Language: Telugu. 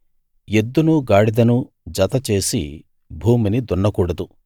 ఎద్దునూ గాడిదనూ జతచేసి భూమిని దున్నకూడదు